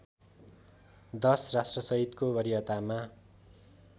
१० राष्ट्रसहितको वरियतामा